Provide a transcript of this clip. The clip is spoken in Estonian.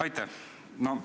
Aitäh!